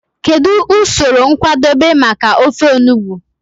Kedu usoro nkwadebe maka ofe enugbe?